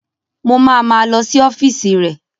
Mo ma ma lọ sí ọ́fíìsì rẹ̀